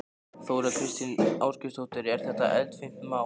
Þóra Kristín Ásgeirsdóttir: Er þetta eldfimt mál?